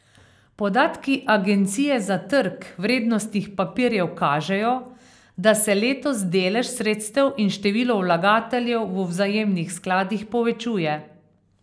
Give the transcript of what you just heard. Podatki Agencije za trg vrednostnih papirjev kažejo, da se letos delež sredstev in število vlagateljev v vzajemnih skladih povečuje.